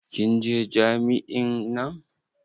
Kin je jami'in nan?